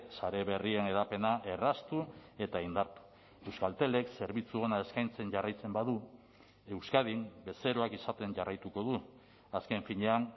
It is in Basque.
sare berrien hedapena erraztu eta indartu euskaltelek zerbitzu ona eskaintzen jarraitzen badu euskadin bezeroak izaten jarraituko du azken finean